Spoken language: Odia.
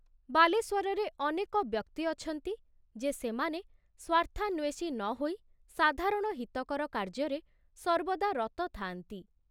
ବାଲେଶ୍ୱରରେ ଅନେକ ବ୍ୟକ୍ତି ଅଛନ୍ତି ଯେ ସେମାନେ ସ୍ଵାର୍ଥାନ୍ଵେଷୀ ନ ହୋଇ ସାଧାରଣ ହିତକର କାର୍ଯ୍ୟରେ ସର୍ବଦା ରତ ଥାଆନ୍ତି।